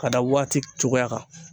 Ka da waati cogoya kan.